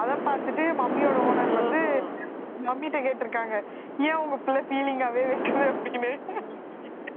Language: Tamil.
அதைப் பார்த்துட்டு mummy யோட owner வந்து mummy ட்ட கேட்டிருக்காங்க ஏன் உங்க பிள்ளை feeling ஆவே வைக்குது அப்படின்னு